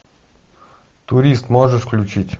турист можешь включить